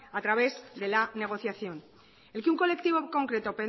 a través de la negociación el que un colectivo en concreto